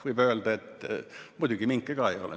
Võib öelda, et minke ka seal ei ole.